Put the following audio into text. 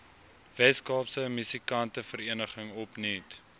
weskaapse musikantevereniging opnuut